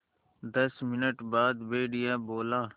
दस मिनट बाद भेड़िया बोला